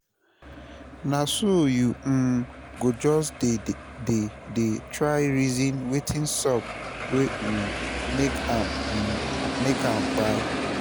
na so yu um go jus dey dey try reason wetin sup wey um make am um make am kpai